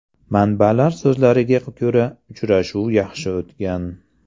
Manbalar so‘zlariga ko‘ra, uchrashuv yaxshi o‘tgan.